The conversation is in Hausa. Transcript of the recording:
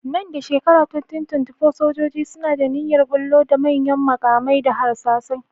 Nan da shekarar 2024, sojoji suna da niyyar ɓullo da manyan maƙamai da harsasai.